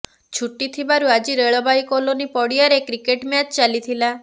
ଛୁଟି ଥିବାରୁ ଆଜି ରେଳବାଇ କଲୋନି ପଡ଼ିଆରେ କ୍ରିକେଟ ମ୍ୟାଚ୍ ଚାଲିଥିଲା